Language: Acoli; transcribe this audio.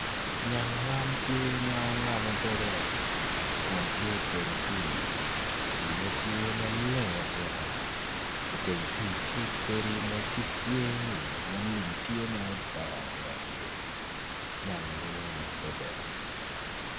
Nyang man tye ma ongamo doge kun tye i teng pii piine tye ma leng atika i teng pii tye godi ma lum odongo i ngetgi nenogi mwonya adada.